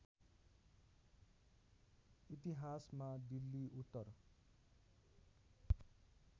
इतिहासमा दिल्ली उत्तर